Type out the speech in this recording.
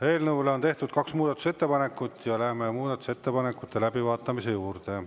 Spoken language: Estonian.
Eelnõu kohta on tehtud kaks muudatusettepanekut ja läheme muudatusettepanekute läbivaatamise juurde.